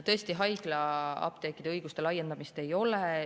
Tõesti, haiglaapteekide õiguste laiendamist ei ole.